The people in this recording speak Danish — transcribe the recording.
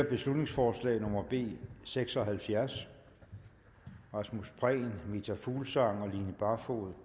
beslutningsforslag nummer b seks og halvfjerds rasmus prehn meta fuglsang og line barfod